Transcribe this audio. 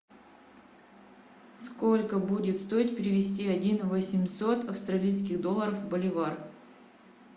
сколько будет стоить перевести один восемьсот австралийских долларов в боливар